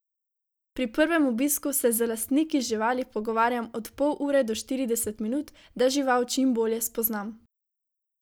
Pri prvem obisku se z lastniki živali pogovarjam od pol ure do štirideset minut, da žival čim bolje spoznam.